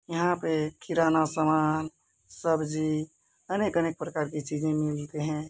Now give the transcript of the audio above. यहाँ पे किराना सामान सब्जी अनेक-अनेक प्रकार की चीजे मिलते हैं।